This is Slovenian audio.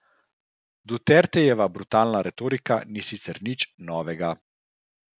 Dutertejeva brutalna retorika ni sicer nič novega.